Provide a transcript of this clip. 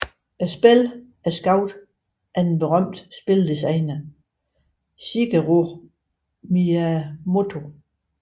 Spillene er skabt af den berømte spildesigner Shigeru Miyamoto